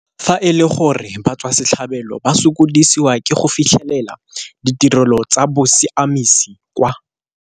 Fa e le gore batswasetlhabelo ba sokodisiwa ke go fitlhelela ditirelo tsa bosiamisi kwa.